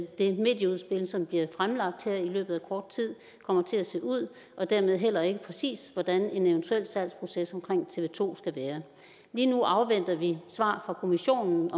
det medieudspil som bliver fremlagt her i løbet af kort tid kommer til at se ud og dermed heller ikke præcis hvordan en eventuel salgsproces omkring tv to skal være lige nu afventer vi svar fra kommissionen